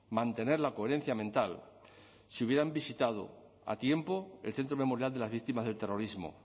mantener la coherencia mental si hubieran visitado a tiempo el centro memorial de las víctimas del terrorismo